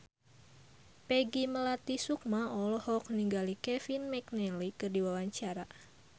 Peggy Melati Sukma olohok ningali Kevin McNally keur diwawancara